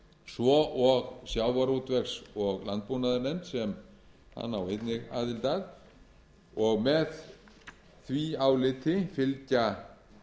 svo og sjávarútvegs og landbúnaðarnefnd sem hann á einnig aðild að og með því áliti fylgja